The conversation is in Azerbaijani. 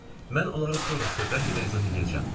Mən onları sonrası bəlkə də izah eləyəcəm.